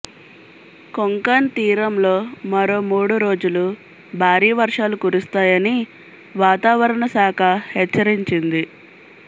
కొంకణ్ తీరంలో మరో మూడు రోజులు భారీ వర్షాలు కురుస్తాయని వాతావరణ శాఖ హెచ్చరించింది